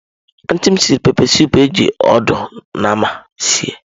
Antị m siri pepesụpụ eji ọdụ nama sie.